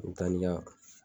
N ya